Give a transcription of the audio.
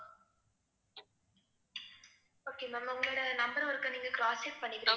okay ma'am உங்களோட number ஆ ஓருக்க நீங்க cross check பண்ணிக்கிறீங்களா